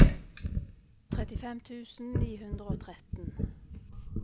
trettifem tusen ni hundre og tretten